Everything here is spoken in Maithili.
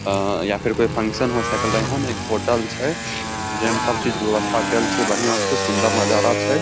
आ या फिर कोई फंक्शन हो सकले हन एक होटल छै जे में सब चीज के व्यवस्था कैएल छै बढियाँ से सुन्दर नजारा छै।